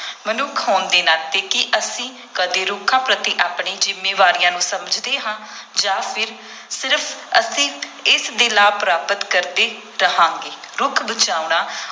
ਮਨੁੱਖ ਹੋਣ ਦੇ ਨਾਤੇ, ਕੀ ਅਸੀਂ ਕਦੇ ਰੁੱਖਾਂ ਪ੍ਰਤੀ ਆਪਣੀ ਜ਼ਿੰਮੇਵਾਰੀਆਂ ਨੂੰ ਸਮਝਦੇ ਹਾਂ ਜਾਂ ਫਿਰ ਸਿਰਫ ਅਸੀਂ ਇਸ ਦੇ ਲਾਭ ਪ੍ਰਾਪਤ ਕਰਦੇ ਰਹਾਂਗੇ, ਰੁੱਖ ਬਚਾਉਣਾ